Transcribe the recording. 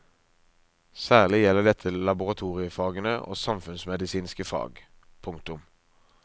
Særlig gjelder dette laboratoriefagene og samfunnsmedisinske fag. punktum